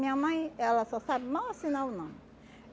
Minha mãe, ela só sabe mal assinar o nome.